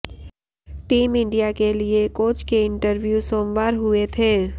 team India के लिए coach के इंटरव्यू सोमवार हुए थे